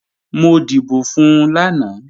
Mo dìbò fun lánàá